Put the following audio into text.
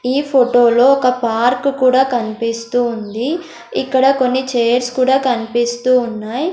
ఈ ఫోటో లో ఒక పార్కు కూడా కనిపిస్తుంది ఇక్కడ కొన్ని చైర్స్ కూడా కనిపిస్తూ ఉన్నాయి.